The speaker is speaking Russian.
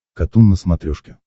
катун на смотрешке